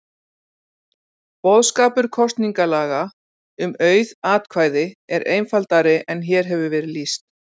Boðskapur kosningalaga um auð atkvæði er einfaldari en hér hefur verið lýst.